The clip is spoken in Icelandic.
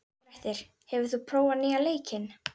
Grettir, hefur þú prófað nýja leikinn?